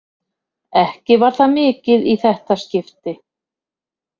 Ekki var það mikið í þetta skipti.